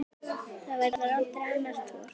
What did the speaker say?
Hvað viljið þið frá mér?